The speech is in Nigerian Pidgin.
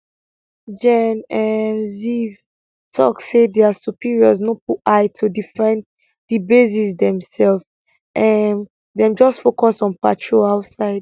gen um ziv talk say dia superiors no put eye to defend di bases demself um dem just focus on patrol outside